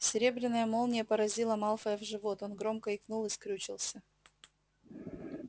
серебряная молния поразила малфоя в живот он громко икнул и скрючился